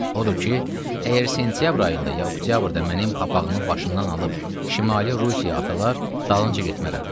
Odur ki, əgər sentyabr ayında ya oktyabrda mənim papağımı başımdan alıb şimali Rusiyaya atalar, dalınca getmərəm.